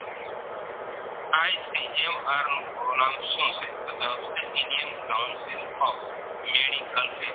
R નું પૂરું નામ શું છે તો જવાબ છે Indian Council of Medical